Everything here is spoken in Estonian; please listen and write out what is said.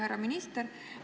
Härra minister!